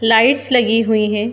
Lights लगी हुई हैं।